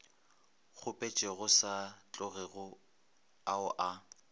kgopetšego sa tlogego ao a